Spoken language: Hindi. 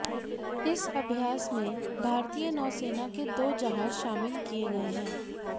इस अभ्यास में भारतीय नौसेना के दो जहाज शामिल किए गए हैं